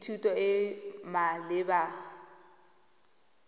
le thuto e e maleba